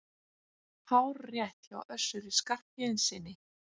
Hárrétt hjá Össuri Skarphéðinssyni!